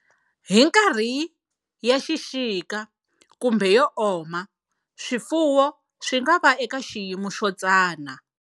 Hi nkarhi ya xixika kumbe yo oma, swifuwo swi nga va eka xiyimo xo tsana.